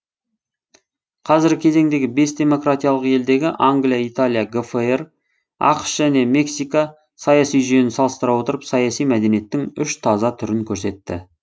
қазіргі кезеңдегі бес демократиялық елдегі англия италия гфр ақш және мексика саяси жүйені салыстыра отырып саяси мәдениеттің үш таза түрін көрсетті